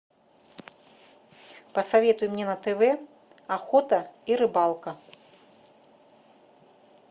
посоветуй мне на тв охота и рыбалка